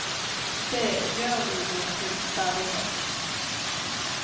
Det gjør vi jo til stadighet.